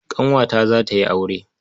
Ƙanwata za ta yi aure.